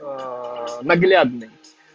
наглядный